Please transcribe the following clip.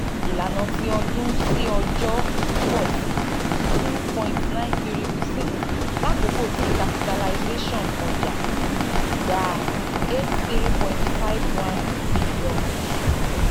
ilana ti ọdun si ọjọ (ytd) pọ si two point nine three percent lakoko ti capitalization ọja gba n eighty three point five one bilionu